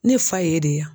Ne fa ye de ye yan